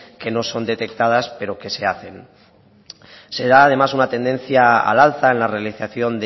que no son detectadas pero que se hacen será además una tendencia al alza en la realización